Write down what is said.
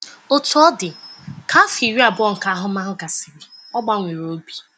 Otú ọ dị, ka afọ iri abụọ nke ahụmahụ gasịrị, ọ gbanwere obi.